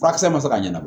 Furakisɛ ma se ka ɲana